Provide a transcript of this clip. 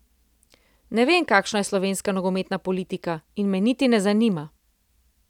Ne vem, kakšna je slovenska nogometna politika in me niti ne zanima.